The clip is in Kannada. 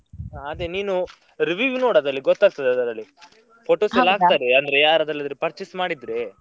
ಹ ಅದೇ ನೀನು review ನೋಡು ಅದ್ರಲ್ಲಿ ಗೂತ್ತಾಗ್ತದೆ ಅದ್ರಲ್ಲಿ, ಎಲ್ಲ ಹಾಕ್ತಾರೆ ಅಂದ್ರೆ ಯಾರೆಲ್ಲಾದ್ರೂ purchase ಮಾಡಿದ್ರೆ.